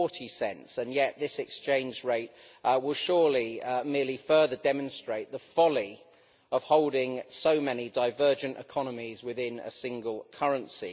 1.40, and yet this exchange rate will surely merely further demonstrate the folly of holding so many divergent economies within a single currency.